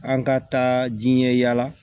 An ka taa diɲɛ yala